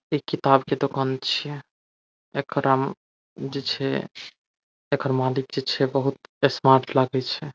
इ किताब के दूकान छीये एकरा जे छै एकर मालिक जे छै बहुत स्मार्ट लागे छै ।